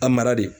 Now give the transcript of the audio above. A mara de